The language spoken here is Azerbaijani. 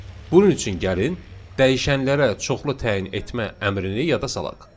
Bunun üçün gəlin dəyişənlərə çoxlu təyin etmə əmrini yada salaq.